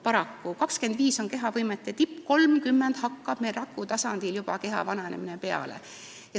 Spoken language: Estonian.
25. eluaasta on kehaliste võimete tipp, 30. eluaastast hakkab rakutasandil keha vananemine juba peale.